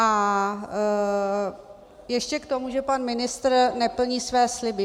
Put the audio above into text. A ještě k tomu, že pan ministr neplní své sliby.